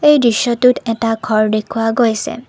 এই দৃশ্যটোত এটা ঘৰ দেখুওৱা গৈছে।